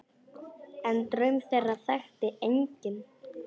En draum þeirra þekkti enginn.